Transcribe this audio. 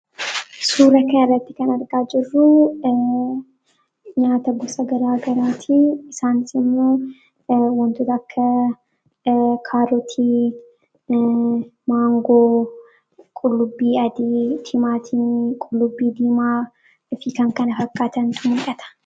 suura kanarratti kan argaa jirruu nyaata gosa garaa garaatii isaan immo wantoota akka kaarotii maangoo qullubbii adii tiimaatiin qullubbii diimaa fi kan kana fakkaatantu mul'ata